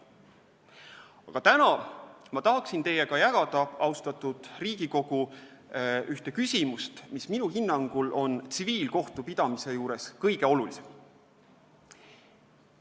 Aga täna ma tahan teiega jagada, austatud Riigikogu, ühte küsimust, mis minu hinnangul on tsiviilkohtupidamise juures kõige olulisem.